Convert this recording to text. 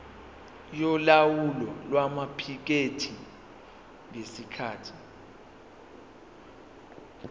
yolawulo lwamaphikethi ngesikhathi